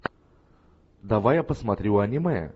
давай я посмотрю аниме